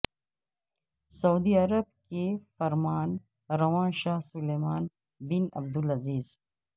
سعودی Arab کے فرمان رواں شاہ سلمان بن عبدالعزیز